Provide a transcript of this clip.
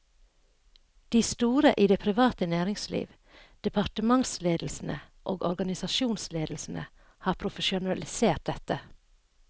De store i det private næringsliv, departementsledelsene og organisasjonsledelsene har profesjonalisert dette.